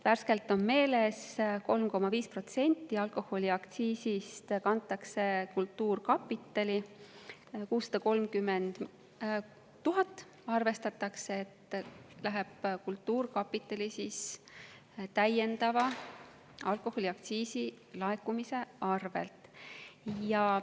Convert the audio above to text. Värskelt on meeles: 3,5% alkoholiaktsiisist kantakse kultuurkapitalile, arvestatakse, et 630 000 eurot läheb kultuurkapitalile alkoholiaktsiisi täiendava laekumise tõttu.